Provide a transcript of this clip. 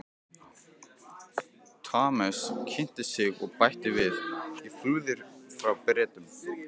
Thomas kynnti sig og bætti við: Ég flúði frá Bretum